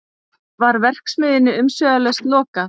Var verksmiðjunni umsvifalaust lokað